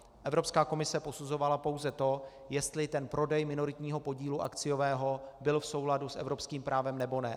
Evropská komise posuzovala pouze to, jestli ten prodej minoritního podílu akciového byl v souladu s evropským právem, nebo ne.